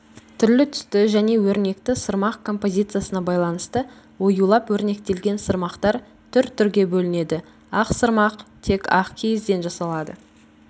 түрлі-түсті және өрнекті сырмақ композициясына байланысты оюлап-өрнектелген сырмақтар түр-түрге бөлінеді ақ сырмақ тек ақ киізден жасалады